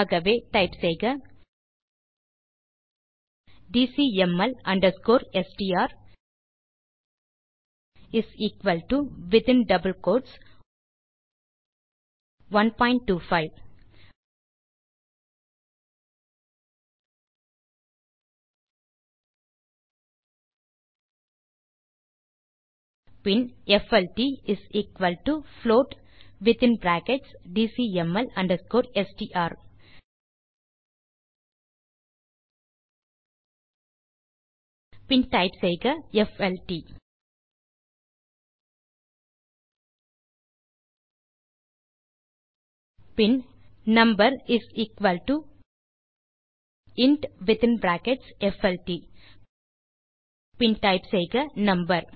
ஆகவே டைப் செய்க TCML underscore STR is equal to within double quotes 125 பின் FLT float within brackets TCML underscore STR பின் type செய்க FLT பின் number is equal to int within brackets FLT பின் type செய்க number